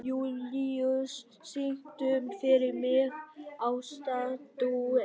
Júlíus, syngdu fyrir mig „Ástardúett“.